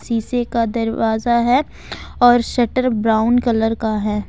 शीशे का दरवाजा है और शटर ब्राउन कलर का है।